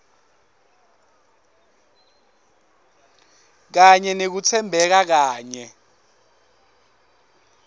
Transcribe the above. kanye nekutsembeka kanye